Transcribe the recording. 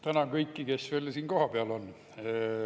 Tänan kõiki, kes on siin kohapeal!